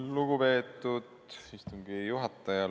Lugupeetud istungi juhataja!